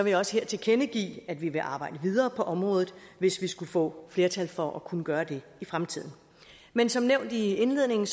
jeg også her tilkendegive at vi vil arbejde videre på området hvis vi skulle få flertal for at kunne gøre det i fremtiden men som nævnt i indledningen